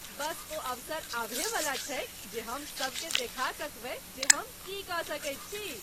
बस ओ अवसर आबहेवला छैक जे हम सबकेँ देखा सकबै जे हम की कऽ सकैत छी।